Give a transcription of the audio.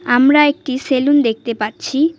আমরা একটি সেলুন দেখতে পাচ্ছি।